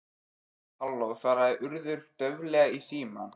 Halló- svaraði Urður dauflega í símann.